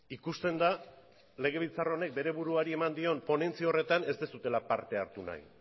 ikusten da legebiltzar honek bere buruari eman dion ponentzi horretan ez duzuela parte hartu nahi